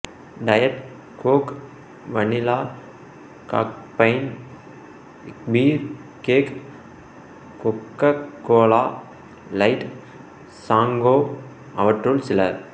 diet Coke vanilla caffeine free Coke Coca Cola light சாங்கோ அவற்றுள் சில